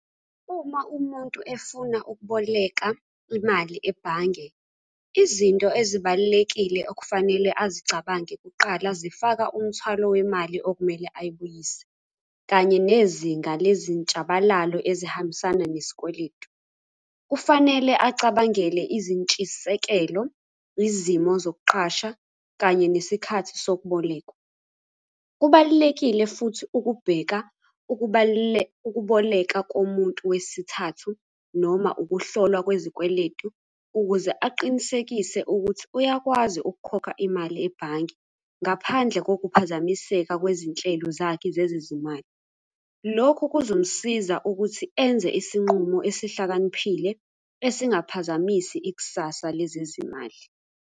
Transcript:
Uma umuntu efuna ukuboleka imali ebhange, izinto ezibalulekile okufanele azicabange kuqala, zifaka umthwalo wemali okumele ayibuyise, kanye nezinga lezintshabalalo ezihambisana nesikweletu. Kufanele acabangele izintshisekelo, izimo zokuqasha, kanye nesikhathi sokubolekwa. Kubalulekile futhi ukubheka ukuboleka komuntu wesithathu noma ukuhlolwa kwezikweletu, ukuze aqinisekise ukuthi uyakwazi ukukhokha imali ebhange ngaphandle kokuphazamiseka kwezinhlelo zakhe zezezimali. Lokho kuzomusiza ukuthi enze isinqumo esihlakaniphile, esingaphazamisi ikusasa lezezimali.